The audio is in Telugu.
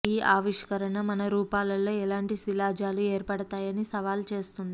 ఈ ఆవిష్కరణ మన రూపాల్లో ఎలాంటి శిలాజాలు ఏర్పడతాయని సవాలు చేస్తుంది